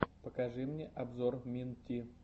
покажи мне обзор мин ти